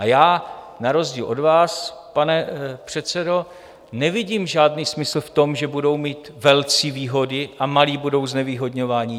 A já na rozdíl od vás, pane předsedo, nevidím žádný smysl v tom, že budou mít velcí výhody a malí budou znevýhodňováni.